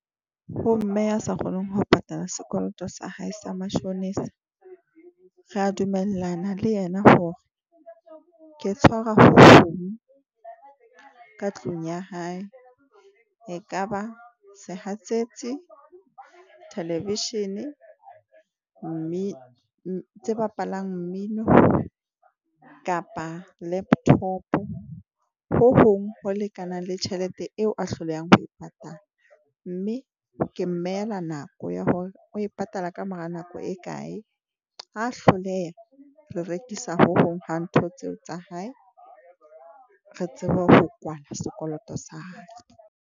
Ho mme a sa kgoneng ho patala sekoloto sa hae sa mashonisa. Re a dumellana le yena hore ke tshwara phone ka tlung ya hae. E ka ba sehatsetsi, theleveshene mme tse bapalang mmino kapa laptop, ho hong ho lekanang le tjhelete eo a hlolehang ho e patala. Mme ke mmehela nako ya hore o e patala ka mora nako e kae. Ha hloleha re rekisa ho hong ha ntho tseo tsa hae, re tsebe ho kwala sekoloto sa hae.